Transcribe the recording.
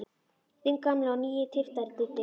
Þinn gamli og nýi tyftari, Diddi.